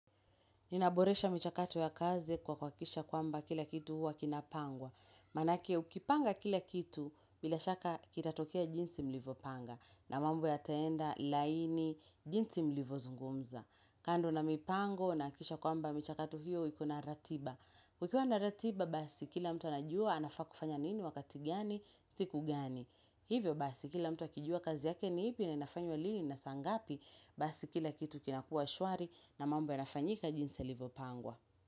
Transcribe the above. Ninaboresha michakatu ya kazi kwa kuhakikisha kwamba, kila kitu huwa kinapangwa. Manake ukipanga kila kitu bila shaka kitatokea jinsi mlivopanga na mambo yataenda laini jinsi mlivozungumza. Kando na mipango nahakikisha kwamba michakatu hiyo ikona ratiba. Kukiwa na ratiba basi kila mtu anajua anafaa kufanya nini wakati gani, siku gani. Hivyo basi kila mtu akijua kazi yake ni ipi na inafanywa lini na saa ngapi, basi kila kitu kinakuwa shwari na mambo yanafanyika jinsi yalivyo pangwa.